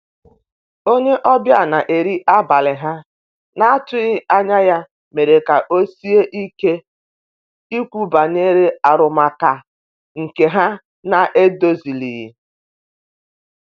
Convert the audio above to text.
onye obia na nri abali ha na atughi anya ya mere ka osie ike Ikwu banyere arụmaka nke ha na edozilighi.